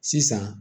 Sisan